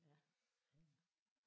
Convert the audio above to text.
Ja. Ja ja